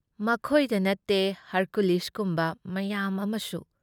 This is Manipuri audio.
ꯃꯈꯣꯏꯗ ꯅꯠꯇꯦ ꯍꯔꯀꯨꯂꯤꯁꯀꯨꯝꯕ ꯃꯌꯥꯝ ꯑꯃꯁꯨ ꯫